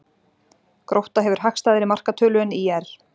Grótta hefur hagstæðari markatölu en ÍR